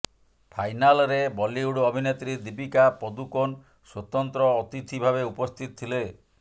ଫାଇନାଲରେ ବଲିଉଡ ଅଭିନେତ୍ରୀ ଦୀପିକା ପଦୁକୋନ ସ୍ବତନ୍ତ୍ର ଅତିଥି ଭାବେ ଉପସ୍ଥିତ ଥିଲେ